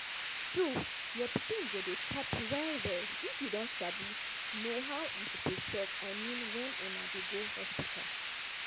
true your pikin go dey chop well well if you don sabi know how e suppose suck i mean when una dey go hospital